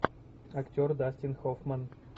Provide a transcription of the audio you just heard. актер дастин хоффман